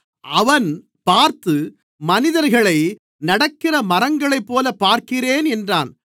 அவன் பார்த்து மனிதர்களை நடக்கிற மரங்களைப்போலப் பார்க்கிறேன் என்றான்